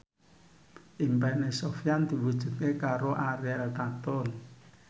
impine Sofyan diwujudke karo Ariel Tatum